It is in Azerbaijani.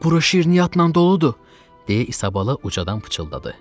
Bura şirniyyatla doludur, deyə Isabala ucadan pıçıldadı.